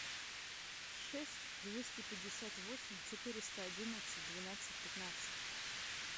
шесть двести пятьдесят восемь четыреста одиннадцать двенадцать пятнадцать